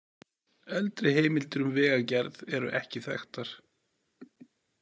Eldri heimildir um vegagerð eru ekki þekktar.